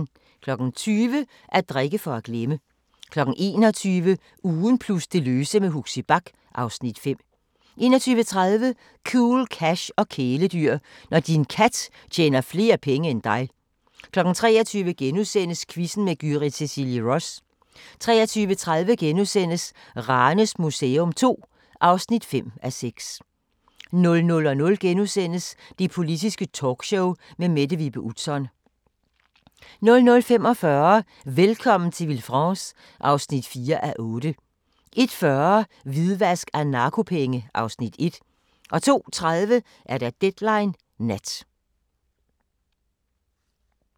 20:00: At drikke for at glemme 21:00: Ugen plus det løse med Huxi Bach (Afs. 5) 21:30: Cool Cash og kæledyr – når din kat tjener flere penge end dig 23:00: Quizzen med Gyrith Cecilie Ross * 23:30: Ranes Museum II (5:6)* 00:00: Det Politiske Talkshow med Mette Vibe Utzon * 00:45: Velkommen til Villefranche (4:8) 01:40: Hvidvask af narkopenge (Afs. 1) 02:30: Deadline Nat ( søn, tir, fre)